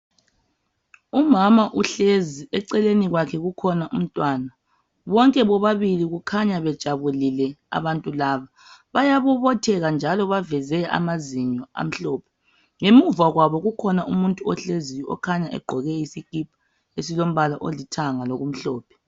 Umama uhlezi eceleni kwakhe kukhona umntwana bonke bobabili kukhanya bejabulile abantu laba bayabobotheka njalo bakhanya beveze amazinyo amhlophe. Ngemuva kwabo kukhona umuntu ohleziyo okhanya egqoke isikipa esilombala olithanga lokumhlophe.